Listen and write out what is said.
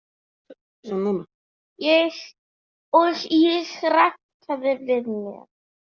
Og ég rankaði við mér.